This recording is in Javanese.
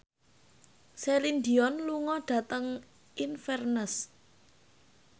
Celine Dion lunga dhateng Inverness